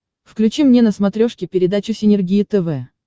включи мне на смотрешке передачу синергия тв